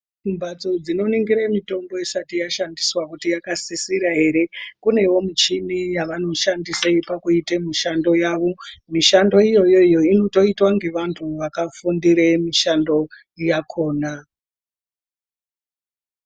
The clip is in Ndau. Mbatso dzikoningira mitombo dzisati dzaningiswa kuti inosisira hre kune michini yavanoshandisa kuita mishando yawo mishando iyoyo inotoitwa nevantu vakafundira nemishando yakona.